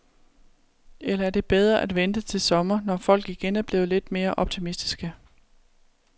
Eller er det bedre at vente til sommer, når folk igen er blevet lidt mere optimistiske?